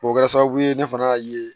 O kɛra sababu ye ne fana y'a ye